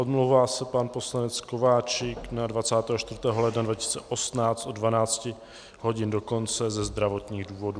Omlouvá se pan poslanec Kováčik na 24. ledna 2018 od 12 hodin do konce ze zdravotních důvodů.